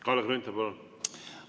Kalle Grünthal, palun!